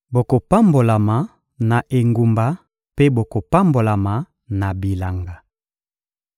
Bokopambolama na engumba mpe bokopambolama na bilanga.